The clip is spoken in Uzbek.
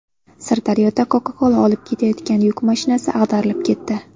Sirdaryoda Coca-Cola olib ketayotgan yuk mashinasi ag‘darilib ketdi .